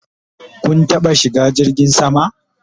Kun taɓa shiga jirgin sama?